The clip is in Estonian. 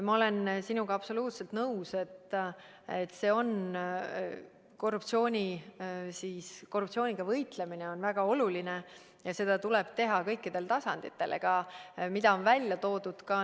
Ma olen sinuga absoluutselt nõus, et korruptsiooniga võitlemine on väga oluline ja seda tuleb teha kõikidel tasanditel.